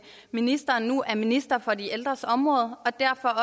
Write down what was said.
ministeren nu er minister for de ældres område og derfor